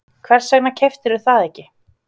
Hvers vegna keyptirðu það ekki?